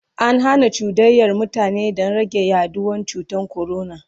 an Hana cuɗanyar mutane Dan rage yaduwan cutan corona